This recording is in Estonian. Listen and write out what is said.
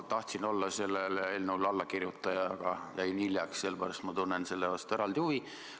Ma tahtsin olla sellele eelnõule allakirjutaja, aga jäin hiljaks, sellepärast ma tunnen selle vastu eraldi huvi.